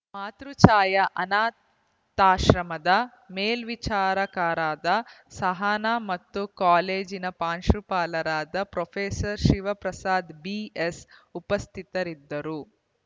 ಮಾತೃಛಾಯಾ ಅನಾಥಾಶ್ರಮದ ಮೇಲ್ವಿಚಾರಕರಾದ ಸಹನಾ ಹಾಗೂ ಕಾಲೇಜಿನ ಪಾಂಶುಪಾಲರಾದ ಪ್ರೊಫೆಸರ್ ಶಿವಪ್ರಸಾದ ಬಿಎಸ್‌ ಉಪಸ್ಥಿತರಿದ್ದರು